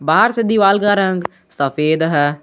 बाहर से दिवाल का रंग सफेद है।